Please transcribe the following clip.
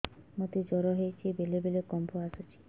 ମୋତେ ଜ୍ୱର ହେଇଚି ବେଳେ ବେଳେ କମ୍ପ ଆସୁଛି